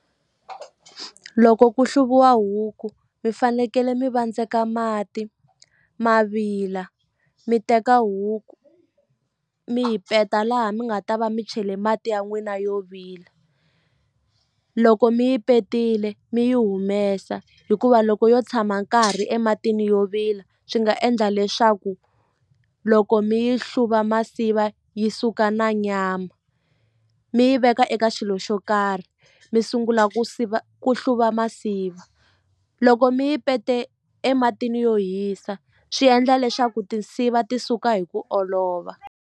Loko ku hluviwa huku mi fanekele mi vandzeka mati ma vila mi teka huku mi yi peta laha mi nga ta va mi chele mati ya n'wina yo vila loko mi yi petile mi yi humesa hikuva loko yo tshama nkarhi ematini yo vila swi nga endla leswaku loko mi yi hluva masiva yi suka na nyama mi yi veka eka xilo xo karhi mi sungula ku siva ku hluva masiva loko mi yi pete ematini yo hisa swi endla leswaku tinsiva ti suka hi ku olova.